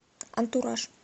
антураж